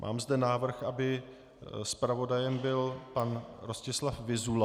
Mám zde návrh, aby zpravodajem byl pan Rostislav Vyzula.